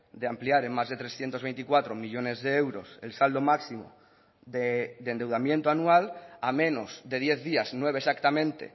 de ampliar en más de trescientos veinticuatro millónes de euros el saldo máximo de endeudamiento anual a menos de diez días nueve exactamente